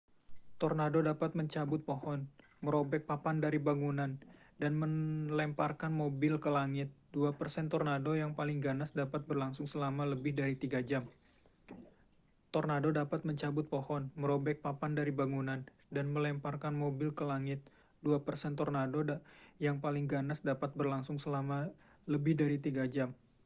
tornado dapat mencabut pohon merobek papan dari bangunan dan melemparkan mobil ke langit dua persen tornado yang paling ganas dapat berlangsung selama lebih dari tiga jam